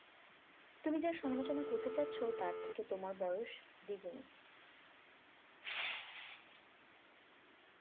তুমি যার সমালোচনা করতে যাচ্ছ তার থেকে তোমার বয়স দ্বিগুণ